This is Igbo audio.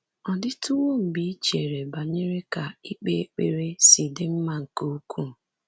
Ọ dịtuwo mgbe i chere banyere ka ikpe ekpere si dị mma nke ukwuu?